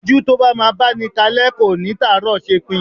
Ojú tó bá máa báni kalẹ́ kò ní tàárọ̀ ṣepin.